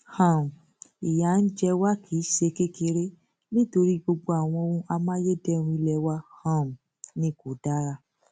um ìyà ń jẹ wá kì í ṣe kékeré nítorí gbogbo àwọn ohun amáyédẹrùn ilé wa um ni kò dára